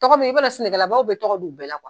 Tɔgɔ b'i i b'a don sɛnɛlabaw bɛ tɔgɔ dun bɛɛ la